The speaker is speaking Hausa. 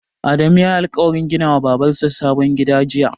Adamu yayi alƙawarin gina wa Babar sa sabon gida jiya?